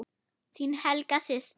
Þín Helga systir.